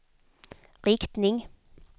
riktning